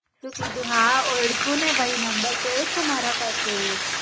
શું કીધું, હા ઓળખ્યો ને ભાઈ નંબર સેવ છે મારા પાસે.